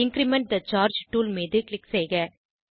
increment the charge tool மீது click செய்க